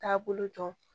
Taabolo dɔn